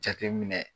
Jateminɛ